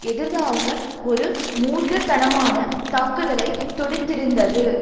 எதிராக ஒரு மூர்க்க தனமான தாக்குதலை தொடுத்திருந்தது